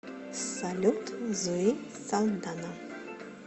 салют зои салдана